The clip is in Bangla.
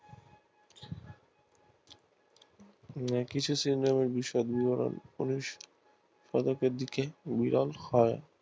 কিছু শ্রেনীর বিষাদ বিবরণ সব ওপর দিকে মূল্যায়ন হয়